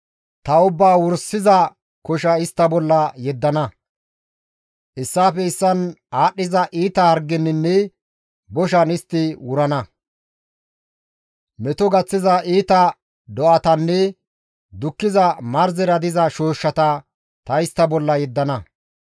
Ta ubbaa wursiza kosha istta bolla yeddana; issaafe issaan aadhdhiza iita hargeninne boshan istti wurana; meto gaththiza iita do7atanne dukkiza marzera diza shooshshata ta istta bolla yeddana.